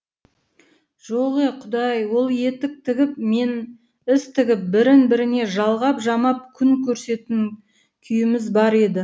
жоқ е құдай ол етік тігіп мен іс тігіп бірін біріне жалғап жамап күн күйіміз бар еді